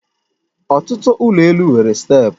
Ọtụtụ ụlọ elụ nwere steepụ